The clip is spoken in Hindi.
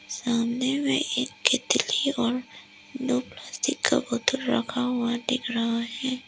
सामने में एक केतली और दो प्लास्टिक का बोतल रखा हुआ दिख रहा है।